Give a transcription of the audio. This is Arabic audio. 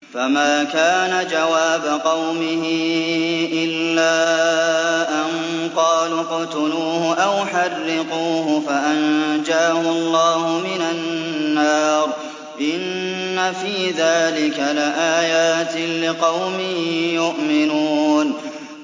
فَمَا كَانَ جَوَابَ قَوْمِهِ إِلَّا أَن قَالُوا اقْتُلُوهُ أَوْ حَرِّقُوهُ فَأَنجَاهُ اللَّهُ مِنَ النَّارِ ۚ إِنَّ فِي ذَٰلِكَ لَآيَاتٍ لِّقَوْمٍ يُؤْمِنُونَ